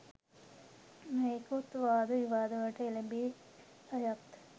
නොයෙකුත් වාද විවාදවලට එළැඹී අයටත්